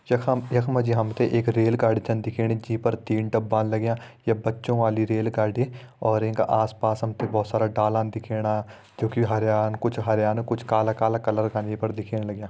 यखम यखमा जी हम त एक रेलगाड़ी छन दिखेणी जी पर तीन डब्बा लग्यां ये बच्चों वाली रेल गाड़ी और येंका आस पास हम त डाला दिखेणा जोकि हरयां कुछ हरयां कुछ कला कला कलर का ये पर दिखेण लग्यां।